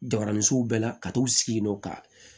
Jabaranisow bɛɛ la ka t'u sigi yen nɔ ka